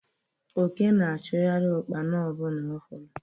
Oke na-achụgharị Ụkpana ọbụla ọ hụrụ